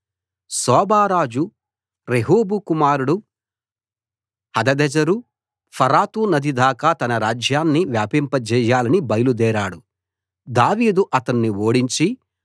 soba రాజు Rehob కుమారుడు Hadadezer ఫరాతు నది దాకా తన రాజ్యాన్ని వ్యాపింపజేయాలని బయలు దేరాడు దావీదు అతణ్ణి ఓడించి